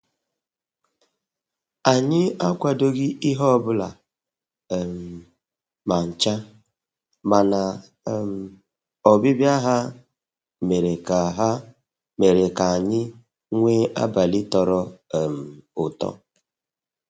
anyị akwadoghị ihe ọbụla um ma ncha, mana um ọbịbịa ha mere ka ha mere ka anyị nwee abalị tọrọ um ụtọ